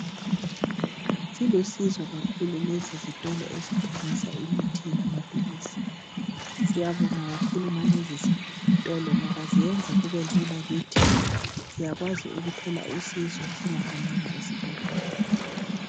Silusizo kakhulu lesi sitolo esithengisa imithi lamaphilisi. Siyabonga kakhulu ngalezi zitolo ngoba ziyenza kubelula kithi siyakwazi ukuthola usizo singahambanga esibhedlela.